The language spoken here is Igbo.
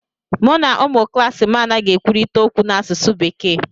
Mụ na ụmụ klaasị m anaghị ekwurịta okwu n'asụsụ bekee